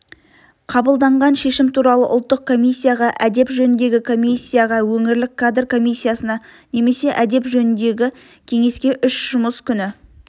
қабылданған шешім туралы ұлттық комиссияға әдеп жөніндегі комиссияға өңірлік кадр комиссиясына немесе әдеп жөніндегі кеңеске үш жұмыс күні